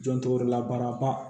Jɔn tɔgɔ la baaraba